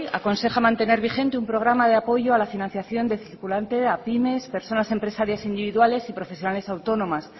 aconseja mantener vigente un programa de apoyo a la financiación de circulante a pymes personas empresarias individuales y profesionales autónomas